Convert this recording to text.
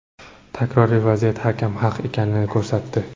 Takroriy vaziyat hakam haq ekanini ko‘rsatdi.